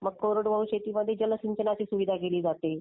कोरडवाहू शेतीमध्ये. मग कोरडवाहू शेतीमध्ये जलसिंचनाची. केली जाते. सुविधा केली जाते.